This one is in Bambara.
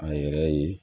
A yɛrɛ ye